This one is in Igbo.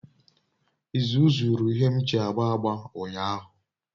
Izu zuru ihe m ji agba agba unyahu